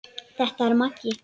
Þetta er Maggi!